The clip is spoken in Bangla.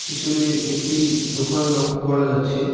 পিসনে একটি দোখান লক্ষ করা যাচ্ছে।